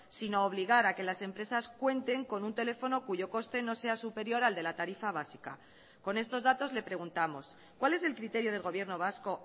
sino obligar a que las empresas cuenten con un teléfono cuyo coste no sea superior al de la tarifa básica con estos datos le preguntamos cuál es el criterio del gobierno vasco